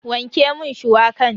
Wanke mun shuwakan.